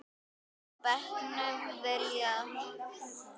á bekknum hjá Villa.